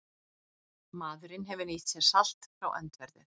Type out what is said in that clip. Maðurinn hefur nýtt sér salt frá öndverðu.